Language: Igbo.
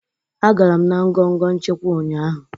Agara m na ngọngọ nchịkwa ụnyaahụ